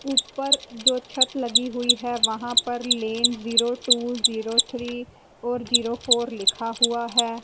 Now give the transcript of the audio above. ऊपर जो छत लगी हुई है वहां पर lane zero two zero three four zero four लिखा हुआ है।